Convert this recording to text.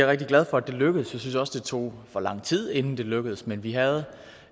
rigtig glad for lykkedes og jeg synes også det tog for lang tid inden det lykkedes men vi havde